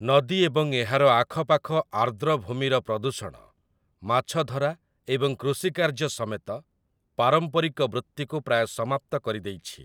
ନଦୀ ଏବଂ ଏହାର ଆଖପାଖ ଆର୍ଦ୍ରଭୂମିର ପ୍ରଦୂଷଣ ମାଛଧରା ଏବଂ କୃଷିକାର୍ଯ୍ୟ ସମେତ ପାରମ୍ପରିକ ବୃତ୍ତିକୁ ପ୍ରାୟ ସମାପ୍ତ କରିଦେଇଛି ।